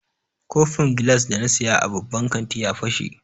Kofin gilas da na saya a babban kanti ya fashe.